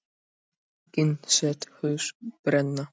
Einnig sést hús brenna